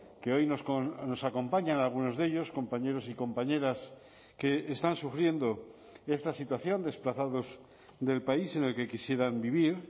que hoy nos acompañan algunos de ellos compañeros y compañeras que están sufriendo esta situación desplazados del país en el que quisieran vivir